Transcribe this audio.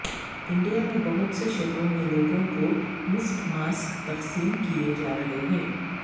India میں بہت سے شہروں میں لوگوں کو مفت ماسک تقسیم کیے جا رہے ہیں